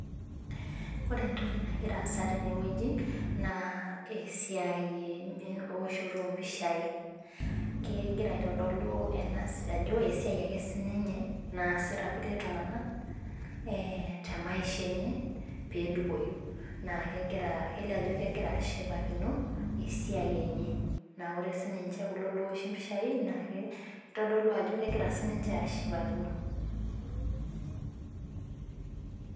Ore entoki nagira aasa tenewueji, naa esiai ewoshoto ompishai, kegira aitodolu ajo esiai ake sininye naasita irkulie tung'anak, temaisha enye pedupoyu. Naa kegira kelio ajo kegira ashipakino esiai enye. Na ore sininche kulo lowoshi mpishai, nake kitodolu ajo kegira sininche ashipakino.